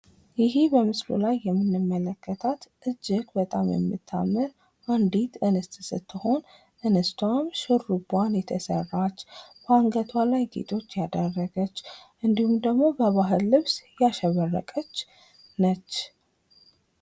ይሄ በምስሉ ላይ የምንመለከታት እጅግ በጣም እምታምር አንዲት እንስት ስትሆን ፤ እንስቷም ሹሩባዋን የተሰራች፣ በአንገቷ ላይ ጌጦች ያደረገች እንድሁም ደግሞ በባህል ልብስ ያሸበረቀች ነች::